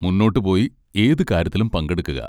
മുന്നോട്ട് പോയി ഏത് കാര്യത്തിലും പങ്കെടുക്കുക.